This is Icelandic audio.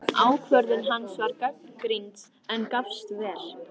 Ákvörðun hans var gagnrýnd, en gafst vel.